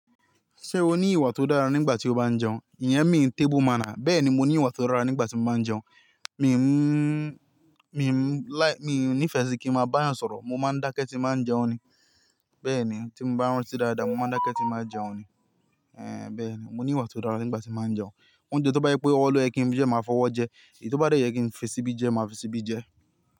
Ṣé o ní ìwà tó dára nígbà tí o bá jẹun? Ìyẹn mi table manner, bẹ́ẹ̀ ni mo ní ìwà tó dára nígbà tí mo bá ń jẹun. Mìí mú, mìí mú láì, mìí nífẹ̀ẹ́ sí kí ń máa bá a yàn sọ̀rọ̀, mo máa ń dákẹ́ tí màá n jẹun ni. Bẹ́ẹ̀ ni tí n bá ń rántí dáadáa, mo máa ń dákẹ́ tí màá n jẹun ni. Ehn, bẹ́ẹ̀ ni. Mo ní ìwà tó dára nígbà tí màá n jẹun. Ohùn jẹ ti ó bá jẹ pé ọwọ lo yẹ kí n fi jẹ, màá fọwọ́ jẹ. Èyí tí ó bá dẹ yẹ kí n fi síbí jẹ, màá fi síbí jẹ.